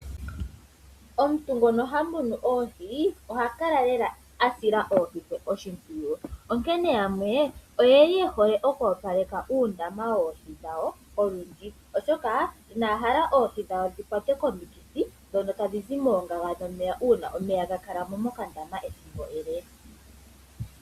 Omuntu ngono ha munu oohi oha kala lela asila oohi dhe oshimpwiyu. Onkene yamwe oyeli ye hole okwoopaleka uundama woohi dhawo olundji oshoka ina ya hala oohi dhawo dhi kwatwe komikithi ndhono tadhi zi moongaga dhomeya uuna omeya ga kala mo mokandama ethimbo ele.